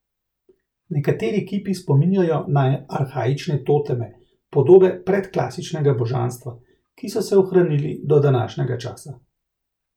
Nekateri kipi spominjajo na arhaične toteme, podobe predklasičnega božanstva, ki so se ohranili do današnjega časa.